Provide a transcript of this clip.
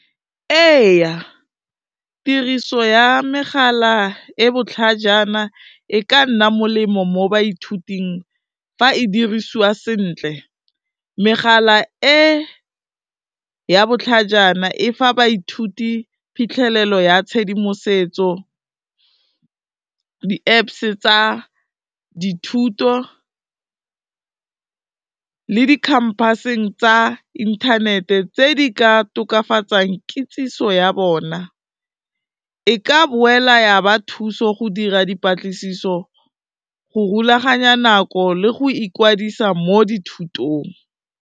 Ee tiriso ya megala e botlhajana e ka nna molemo mo baithuting fa e dirisiwa sentle, megala e ya botlhajana e fa baithuti phitlhelelo ya tshedimosetso, di-Apps tsa dithuto le di-campus-eng tsa inthanete tse di ka tokafatsang kitsiso ya bona, e ka boela ya ba thuso go dira dipatlisiso go rulaganya nako le go ikwadisa mo dithutong.